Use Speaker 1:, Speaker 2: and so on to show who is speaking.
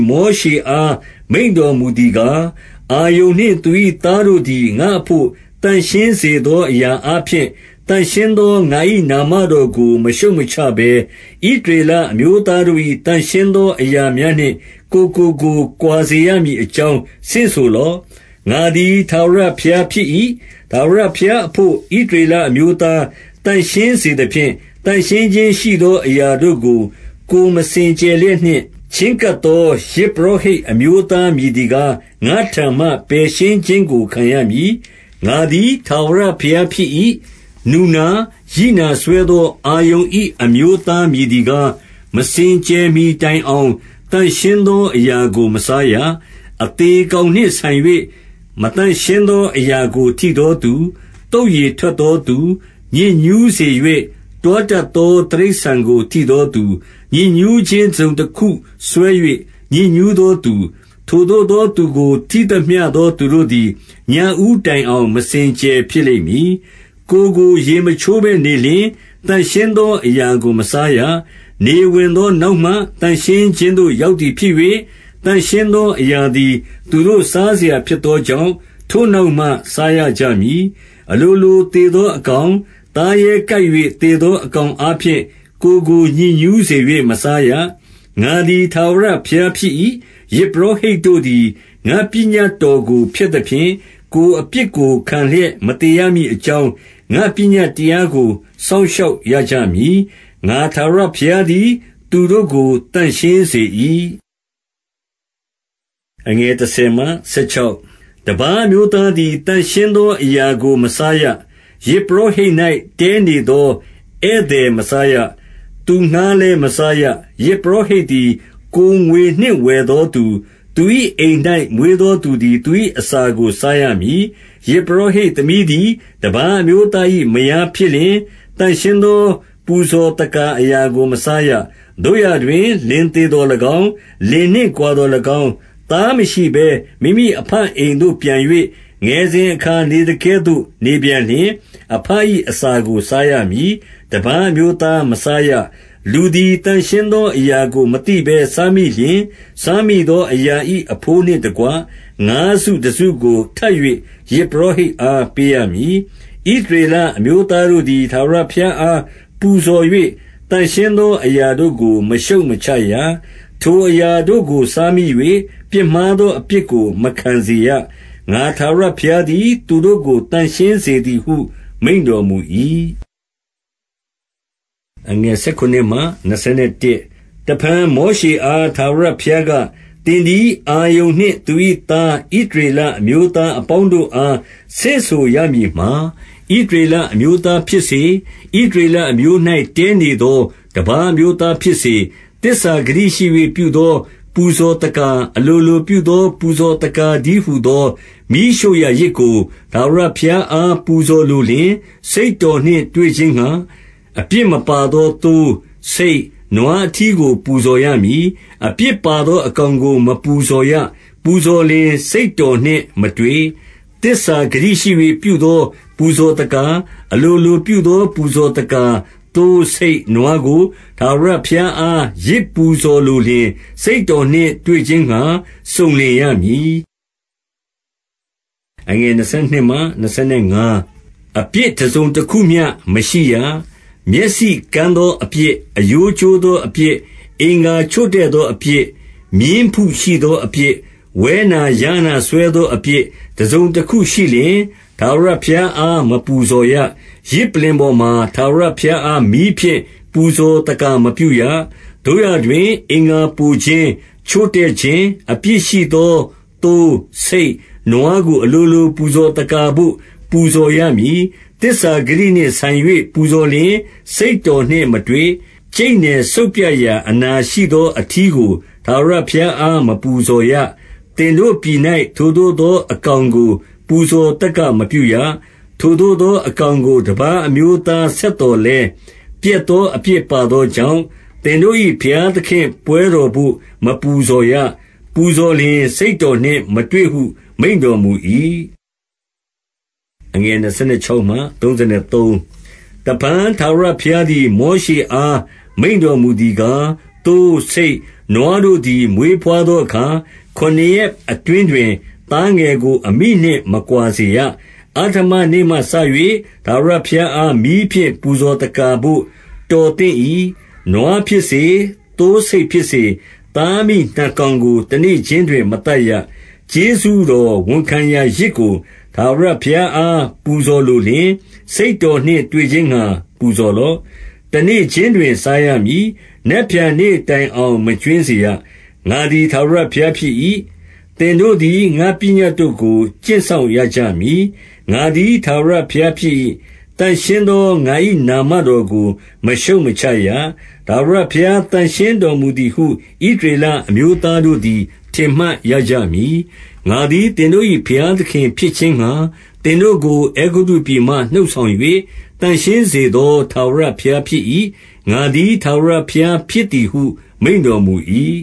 Speaker 1: မောရှေအား မိန့်တော်မူသည်ကား၊- 2 အာရုန်နှင့်သူ၏သားတို့သည် ငါ့အဘို့ သန့်ရှင်းစေသောအရာအားဖြင့်၊ သန့်ရှင်းသော ငါ၏ နာမတော်ကို မရှုတ်မချဘဲ၊ ဣသရေလအမျိုးသားတို့၏ သန့်ရှင်းသော အရာများနှင့် ကိုယ်ကိုကိုယ် ကွာစေရမည် အကြောင်း ဆင့်ဆိုလော့။ ငါသည် ထာဝရဘုရားဖြစ်၏။ 3 ထာဝရဘုရားအဘို့ ဣသရေလအမျိုးသား သန့်ရှင်းစေသဖြင့်၊ သန့်ရှင်းခြင်းရှိသော အရာတို့ကို၊ ကိုယ်မစင်ကြယ်လျက်နှင့် ချဉ်းကပ်သော ယဇ်ပုရောဟိတ် အမျိုးသား မည်သည်ကား၊ ငါ့ထံမှ ပယ်ရှင်းခြင်းကို ခံရမည်။ ငါသည် ထာဝရဘုရားဖြစ်၏။ 4 နူနာ၊ ရိနာစွဲသော အာရုန်၏ အမျိုးသား မည်သည်ကား၊ မစင်ကြယ်မှီတိုင်အောင် သန့်ရှင်းသော အရာကို မစားရ။ အသေကောင်နှင့်ဆိုင်၍ မသန့်ရှင်းသောအရာကို ထိသောသူ၊ သုတ်ရည်ထွက်သောသူ၊- 5 ညစ်ညူးစေ၍ တွားတတ်သော တိရစ္ဆာန်ကိုထိသောသူ၊ ညစ်ညူးခြင်းတစုံတခုစွဲ၍ ညစ်ညူးသောသူ၊ ထိုသို့သောသူကို ထိသမျှသော သူတို့သည်၊- 6 ညဦးတိုင်အောင် မစင်ကြယ်ဖြစ်လိမ့်မည်။ ကိုယ်ကို ရေမချိုးဘဲနေလျှင်၊ သန့်ရှင်းသောအရာကို မစားရ။ 7 နေဝင်သောနောက်မှ သန့်ရှင်းခြင်းသို့ ရောက်သည်ဖြစ်၍၊ သန့်ရှင်းသောအရာသည် သူတို့ စားစရာဖြစ်သောကြောင့်၊ ထိုနောက်မှ စားရကြမည်။ 8 အလိုလိုသေသောအကောင်၊ သားရဲကိုက်၍ သေသောအကောင်အားဖြင့် ကိုယ်ကိုညစ်ညူးစေ၍ မစားရ။ ငါသည် ထာဝရဘုရားဖြစ်၏။ 9 ယဇ်ပုရောဟိတ်တို့သည် ငါ့ပညတ်တော်ကို ဖျက်သဖြင့်၊ ကိုယ်အပြစ်ကိုခံလျက် မသေရမည်အကြောင်း ငါ့ပညတ်တရားကို စောက်ရှောက်ရကြမည်။ ငါထာဝရဘုရားသည် သူတို့ကို သန့်ရှင်းစေ၏။ 10 တပါးအမျိုးသားသည် သန့်ရှင်းသောအရာကို မစားရ။ ယဇ်ပုရောဟိတ်၌ တည်းနေသော ဧည့်သည် မစားရ။ သူငှါးလည်း မစားရ။ 11 ယဇ်ပုရောဟိတ်သည် ကိုယ်ငွေနှင့် ဝယ်သောသူ၊ သူ၏ အိမ်၌မွေးသောသူသည် သူ၏အစာကို စားရမည်။ 12 ယဇ်ပုရောဟိတ်သမီးသည် တပါးအမျိုးသား၏ မယားဖြစ်လျှင်၊ သန့်ရှင်းသော ပူဇော်သက္ကာအရာကို မစားရ။ 13 သို့ရာတွင် လင်သေသော်၎င်း၊ လင်နှင့်ကွာသော်၎င်း၊ သားမရှိဘဲ မိမိအဘအိမ်သို့ပြန်၍ ငယ်စဉ် အခါနေသကဲ့သို့ နေပြန်လျှင်၊ အဘ၏အစာကို စားရမည်။ တပါးအမျိုးသားမစားရ။ 14 လူသည် သန့်ရှင်းသောအရာကို မသိဘဲ စားမိလျှင်၊ စားမိသောအရာ၏ အဘိုးနှင့်တကွ ငါးစုတစု ကိုထပ်၍ ယဇ်ပုရောဟိတ်အား ပေးရမည်။ 15 ဣသရေလအမျိုးသားတို့သည် ထာဝရဘုရားအား ပူဇော်၍၊ သန့်ရှင်းသောအရာတို့ကို မရှုတ်မချရ။ 16 ထိုအရာတို့ကို စားမိ၍ ပြစ်မှားသောအပြစ်ကို မခံစေရ။ ငါထာဝရဘုရားသည် သူတို့ကို သန့်ရှင်းစေ သည်ဟု မိန့်တော်မူ၏။ 17 တဖန်မောရှေအား ထာဝရဘုရားက သင်သည် အာရုန်နှင့် သူ၏သား ဣသရေလအမျိုးသား အပေါင်းတို့အား ဆင့်ဆိုရမည်မှာ၊- 18 ဣသရေလအမျိုးသားဖြစ်စေ၊ ဣသရေလအမျိုး၌ တည်းနေသော တပါး အမျိုးသားဖြစ်စေ၊ သစ္စာဂတိ ရှိ၍ ပြုသော ပူဇော်သက္ကာ၊ အလိုလိုပြုသော ပူဇော်သက္ကာတည်းဟူသော မီးရှို့ရာယဇ်ကို ထာဝရ ဘုရားအား ပူဇော်လိုလျှင်၊- 19 စိတ်တော်နှင့်တွေ့ခြင်းငှါ၊ အပြစ်မပါသောသိုး၊ ဆိတ်၊ နွားအထီးကို ပူဇော်ရမည်။ 20 အပြစ်ပါသော အကောင်ကို မပူဇော်ရ။ ပူဇော်လျှင် စိတ်တော်နှင့်မတွေ့။ 21 သစ္စာဂတိရှိ၍ ပြုသော ပူဇော်သက္ကာ၊ အလိုလိုပြုသော ပူဇော်သက္ကာ သိုး၊ ဆိတ်၊ နွားကို ထာဝရဘုရားအား ယဇ်ပူဇော်လိုလျှင်၊ စိတ်တော်နှင့် တွေ့ခြင်းငှါ စုံလင်ရမည်။ အပြစ်တစုံတခုမျှ မရှိရ။ 22 မျက်စိကန်းသောအပြစ်၊ အရိုးကျိုးသောအပြစ်၊ အင်္ဂါချို့တဲ့သောအပြစ်၊ မြင်းဖုရှိသောအပြစ်၊ ဝဲနာ၊ ယားနာစွဲသောအပြစ်၊ တစုံတခုရှိလျှင်၊ ထာဝရဘုရားအား မပူဇော်ရ။ ယဇ်ပလ္လင်ပေါ်မှာ ထာဝရ ဘုရားအား မီးဖြင့် ပူဇော်သက္ကာမပြုရ။ 23 သို့ရာတွင် အင်္ဂါပိုခြင်း၊ ချို့တဲ့ခြင်း အပြစ်ရှိသော သိုး၊ ဆိတ်၊ နွားကို အလိုလို ပူဇော်သက္ကာဘို့ ပူဇော်ရမည်။ သစ္စာဂတိနှင့်ဆိုင်၍ ပူဇော်လျှင် စိတ်တော်နှင့်မတွေ့။ 24 ကြိတ်နယ် စုတ်ပြတ်ရာ အနာရှိသော အထီးကို ထာဝရဘုရားအား မပူဇော်ရ။ သင်တို့ပြည်၌ ထိုသို့သောအကောင်ကို ပူဇော်သက္ကာမပြုရ။ 25 ထိုသို့သောအကောင်ကို တပါးအမျိုးသား ဆက်သော်လည်း ပျက်သောအပြစ်ပါသောကြောင့်၊ သင်တို့၏ ဘုရားသခင့်ပွဲတော်ဘို့ မပူဇော်ရ။ ပူဇော်လျှင် စိတ်တော်နှင့်မတွေ့ဟု မိန့်တော်မူ၏။ 26 တဖန်ထာဝရဘုရားသည် မောရှေအား မိန့်တော်မူသည်ကား၊- 27 သိုး၊ ဆိတ်၊ နွားတို့သည် မွေးဘွားသောအခါ ခုနစ်ရက်အတွင်းတွင် သားငယ်ကို အမိနှင့် မကွာစေရ။ အဋ္ဌမနေ့မှစ၍ ထာဝရဘုရားအား မီးဖြင့် ပူဇော်သက္ကာဘို့တော်သင့်၏။ 28 နွားဖြစ်စေ၊ သိုးဆိတ်ဖြစ်စေ၊ သားအမိနှစ်ကောင်ကို တနေ့ခြင်းတွင် မသတ်ရ။- 29 ကျေးဇူးတော်ဝန်ခံရာယဇ်ကို ထာဝရဘုရားအား ပူဇော်လိုလျှင်၊ စိတ်တော်နှင့်တွေ့ခြင်းငှါ ပူဇော်လော့။ တနေ့ခြင်းတွင် စားရမည်။ နက်ဖြန်နေ့တိုင်အောင် မကြွင်းစေရ။ ငါသည် ထာဝရဘုရားဖြစ်၏။ 30 သင်တို့သည် ငါ့ပညတ်တို့ကို ကျင့်စောင့်ရကြမည်။ ငါသည် ထာဝရဘုရားဖြစ်၏။ 31 သန့်ရှင်းသော ငါ၏နာမတော်ကို မရှုတ်မချရ။ ထာဝရဘုရား သန့်ရှင်းတော်မူသည်ဟု ဣသရေလ အမျိုးသားတို့သည် ထင်မှတ်ရကြမည်။ 32 ငါသည် သင်တို့၏ ဘုရားသခင်ဖြစ်ခြင်းငှါ သင်တို့ကို အဲဂုတ္တုပြည်မှ နှုတ်ဆောင်၍၊ သန့်ရှင်းစေသော ထာဝရဘုရားဖြစ်၏။ ငါသည် ထာဝရဘုရားဖြစ်သည်ဟု မိန့်တော်မူ၏။